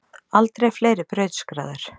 Aldrei fleiri brautskráðir